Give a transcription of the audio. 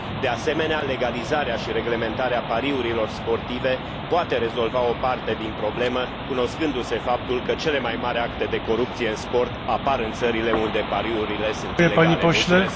De asemenea, legalizarea și reglementarea pariurilor sportive poate rezolva o parte din problemă, cunoscându se faptul că cele mai mari acte de corupție în sport apar în țările unde pariurile sunt ilegale.